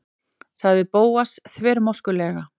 sagði Bóas þvermóðskulega.